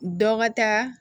Dɔ ka taa